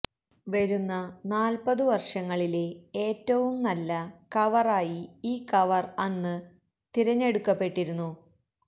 വരുന്ന നാല്പ്പതു വര്ഷങ്ങളിലെ ഏറ്റവും നല്ല കവറായി ഈ കവര് അന്ന് തിരഞ്ഞെടുക്കപ്പെട്ടിരുന്നു